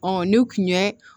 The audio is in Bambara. Ɔ n'u kun ye